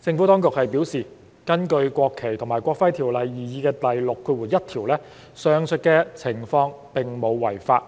政府當局表示，根據《國旗及國徽條例》擬議第61條，上述情況並無違法，